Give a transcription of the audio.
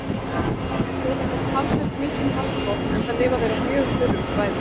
Þeir þola þó talsvert mikinn vatnsskort enda lifa þeir á mjög þurrum svæðum.